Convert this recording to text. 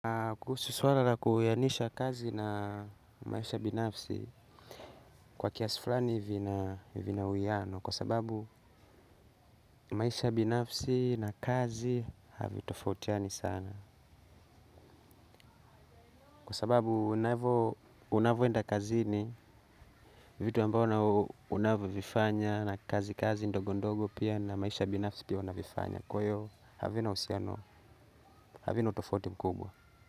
Kuhusu swala la kuwianisha kazi na maisha binafsi kwa kiasi fulani vina uwiano kwa sababu maisha binafsi na kazi havitofautiani sana, kwa sababu unavyoenda kazini vitu ambao unavyovifanya na kazi kazi ndogo ndogo pia na maisha binafsi pia unavifanya. Kwa hiyo havina uhusiano havina utofauti mkubwa.